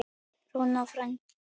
Rúna frænka.